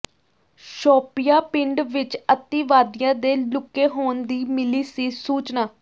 ਸ਼ੋਪੀਆਂ ਪਿੰਡ ਵਿਚ ਅਤਿਵਾਦੀਆਂ ਦੇ ਲੁਕੇ ਹੋਣ ਦੀ ਮਿਲੀ ਸੀ ਸੂਚਨਾ